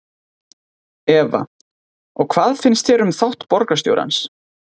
Eva: Og hvað finnst þér um þátt borgarstjórans?